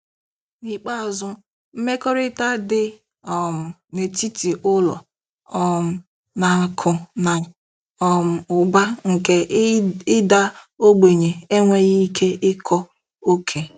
N'ikpeazụ, mmekọrịta dị um n'etiti ụlọ um na akụ na um ụba nke ịda ogbenye enweghị ike ịkọ oke.